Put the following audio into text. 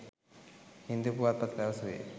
හින්දු පුවත්පත පැවසුවේ